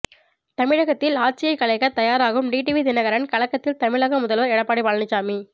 தமிழகத்தில் ஆட்சியை கலைக்க தயாராகும் டிடிவி தினகரன் கலக்கத்தில் தமிழக முதல்வர் எடப்பாடி பழனிசாமி